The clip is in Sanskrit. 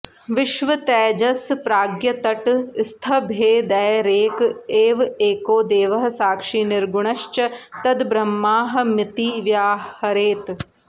विश्वतैजसप्राज्ञतटस्थभेदैरेक एव एको देवः साक्षी निर्गुणश्च तद्ब्रह्माहमिति व्याहरेत्